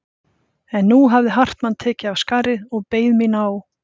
En nú hafði Hartmann tekið af skarið og beðið mín á